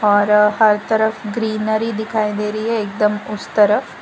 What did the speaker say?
और हर तरफ ग्रीनरी दिखाई दे रही है एकदम उस तरफ--